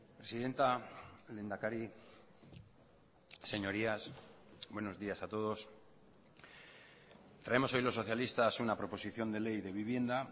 presidenta lehendakari señorías buenos días a todos traemos hoy los socialistas una proposición de ley de vivienda